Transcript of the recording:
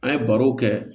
An ye barow kɛ